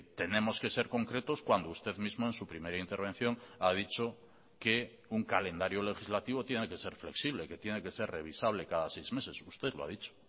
tenemos que ser concretos cuando usted mismo en su primera intervención ha dicho que un calendario legislativo tiene que ser flexible que tiene que ser revisable cada seis meses usted lo ha dicho